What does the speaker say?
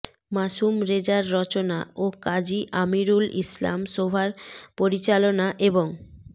মাসুম রেজার রচনা ও কাজী আমিরুল ইসলাম শোভার পরিচালনা এবং